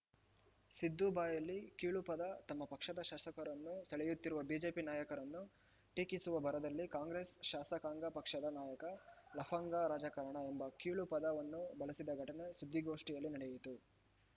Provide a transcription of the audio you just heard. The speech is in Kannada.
ಸಿದ್ದು ಬಾಯಲ್ಲಿ ಕೀಳು ಪದ ತಮ್ಮ ಪಕ್ಷದ ಶಾಸಕರನ್ನು ಸೆಳೆಯುತ್ತಿರುವ ಬಿಜೆಪಿ ನಾಯಕರನ್ನು ಟೀಕಿಸುವ ಭರದಲ್ಲಿ ಕಾಂಗ್ರೆಸ್‌ ಶಾಸಕಾಂಗ ಪಕ್ಷದ ನಾಯಕ ಲಫಂಗ ರಾಜಕಾರಣ ಎಂಬ ಕೀಳು ಪದವನ್ನು ಬಳಸಿದ ಘಟನೆ ಸುದ್ದಿಗೋಷ್ಠಿಯಲ್ಲಿ ನಡೆಯಿತು